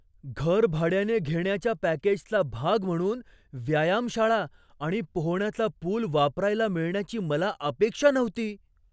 घर भाड्याने घेण्याच्या पॅकेजचा भाग म्हणून व्यायामशाळा आणि पोहण्याचा पुल वापरायला मिळण्याची मला अपेक्षा नव्हती.